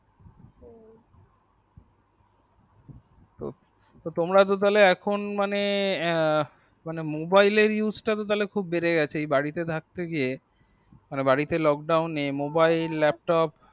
ও তোমরা তাহলে এখন মানে এ mobile টা বেড়ে খুব গেছে বাড়িতে থাকতে গিয়ে মানে বাড়িতে lockdown নে mobile laptop ও।